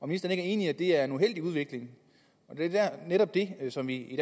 ministeren ikke enig i at det er en uheldig udvikling det er netop det som vi i